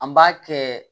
An b'a kɛ